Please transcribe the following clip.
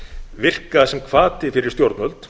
virka sem hvati fyrir stjórnvöld